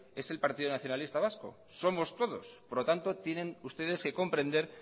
es el partido nacionalista vasco somos todos por lo tanto tienen ustedes que comprender